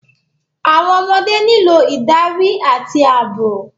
Àwọn ọmọdé nílò ìdarí àti ààbò.